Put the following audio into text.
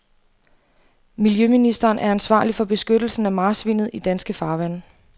Miljøministeren er ansvarlig for beskyttelsen af marsvinet i danske farvande.